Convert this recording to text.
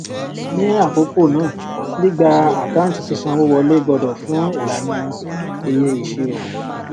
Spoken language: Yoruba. ni àkókò náà gbígba àkáǹtí sísanwowọlé gbọdọ fún ìlànà eye ìṣirò